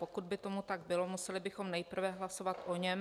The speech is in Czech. Pokud by tomu tak bylo, museli bychom nejprve hlasovat o něm.